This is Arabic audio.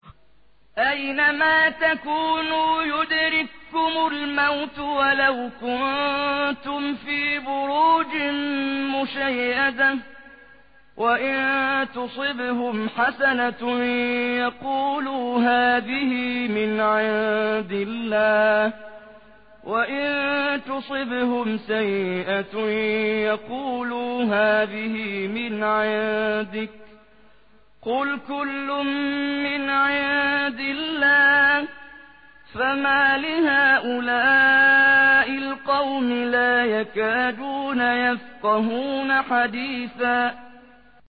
أَيْنَمَا تَكُونُوا يُدْرِككُّمُ الْمَوْتُ وَلَوْ كُنتُمْ فِي بُرُوجٍ مُّشَيَّدَةٍ ۗ وَإِن تُصِبْهُمْ حَسَنَةٌ يَقُولُوا هَٰذِهِ مِنْ عِندِ اللَّهِ ۖ وَإِن تُصِبْهُمْ سَيِّئَةٌ يَقُولُوا هَٰذِهِ مِنْ عِندِكَ ۚ قُلْ كُلٌّ مِّنْ عِندِ اللَّهِ ۖ فَمَالِ هَٰؤُلَاءِ الْقَوْمِ لَا يَكَادُونَ يَفْقَهُونَ حَدِيثًا